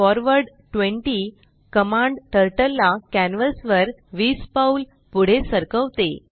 forward 20 command turtle ला canvas वर 20पाऊल पुढे सरकवते